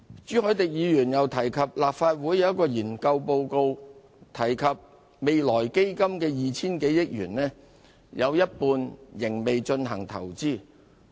朱凱廸議員又提及，立法會一份研究報告提到未來基金的 2,000 多億元有一半仍未進行投資。